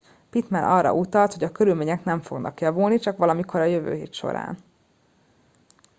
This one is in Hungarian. pittman arra utalt hogy a körülmények nem fognak javulni csak valamikor a jövő hét során